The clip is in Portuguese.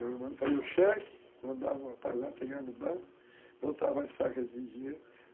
Eu fazia o cheque, mandava o rapaz lá pegar no banco, botava as sacas de dinheiro.